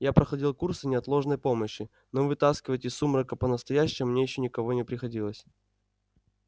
я проходил курсы неотложной помощи но вытаскивать из сумрака по-настоящему мне ещё никого не приходилось